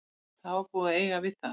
Það var búið að eiga við það.